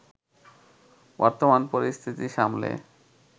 বর্তমান পরিস্থিতি সামলে